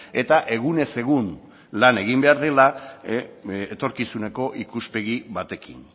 eta egunez egun lan egin behar dela etorkizuneko ikuspegi batekin